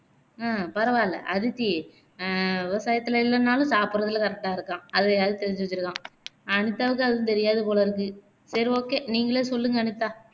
உம் பரவாயில்ல அதித்தி அஹ் விவசாயத்துலே இல்லன்னாலும் சாப்புட்றதுல் correct ஆ இருக்கான் அதயாவது தெரிஞ்சு வச்சிருக்கான் அனிதாவுக்கு அதுவும் தெரியாது போலருக்கு சரி okay நீங்கலே சொல்லுங்க அனிதா